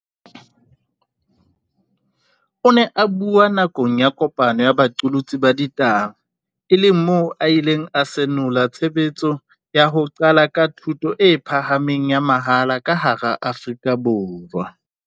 O ne a bua nakong ya kopano ya baqolotsi ba ditaba e leng moo a ileng a senola tshebetso ya ho qala ka thuto e pha hameng ya mahala ka hara Afrika Borwa.